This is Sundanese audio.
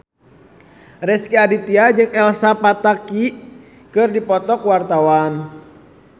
Rezky Aditya jeung Elsa Pataky keur dipoto ku wartawan